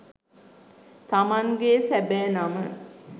තමන්ගේ සැබෑ නම